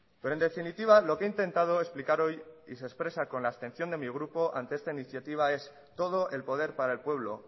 pero en definitiva lo que he intentado explicar hoy y se expresa con la abstención de mi grupo ante esta iniciativa es todo el poder para el pueblo